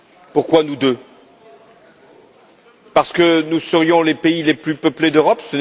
Pourquoi nous deux? Parce que nous serions les pays les plus peuplés d'Europe?